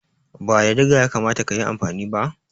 Ba da diga ya kamata ka yi amfani ba?